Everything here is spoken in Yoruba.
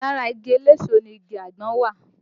Lára igi eléso náà ni igi àgbọn wà